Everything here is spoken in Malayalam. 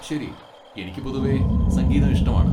ശരി, എനിക്ക് പൊതുവെ സംഗീതം ഇഷ്ടമാണ്.